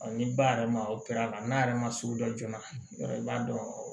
ni ba yɛrɛ ma o kɛr'a la n'a yɛrɛ ma sugu dɔ joona yɔrɔ b'a dɔn